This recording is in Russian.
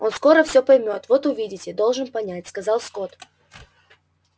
он скоро всё поймёт вот увидите должен понять сказал скотт